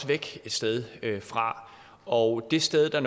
væk et sted fra og det sted der